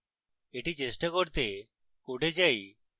এটি চেষ্টা করতে code যাই